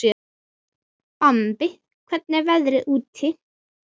Bambi, hvernig er veðrið úti?